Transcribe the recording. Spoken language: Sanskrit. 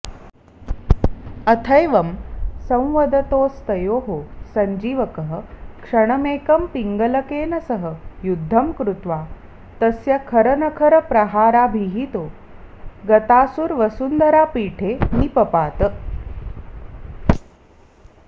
अथैवं संवदतोस्तयोः संजीवकः क्षणमेकं पिङ्गलकेन सह युद्धं कृत्वा तस्य खरनखरप्रहाराभिहितो गतासुर्वसुन्धरापीठे निपपात